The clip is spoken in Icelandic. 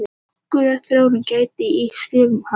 Nokkurrar þróunar gætti í skrifum hans.